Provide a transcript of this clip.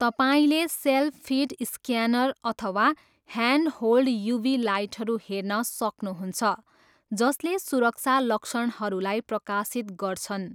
तपाईँले self feed scanner अथवा hand hold UV लाइटहरू हेर्न सक्नुहुन्छ जसले सुरक्षा लक्षणहरूलाई प्रकाशित गर्छन्।